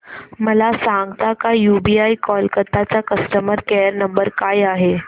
मला सांगता का यूबीआय कोलकता चा कस्टमर केयर नंबर काय आहे